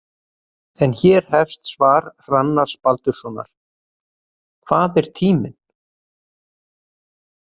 En hér hefst svar Hrannars Baldurssonar: Hvað er tíminn?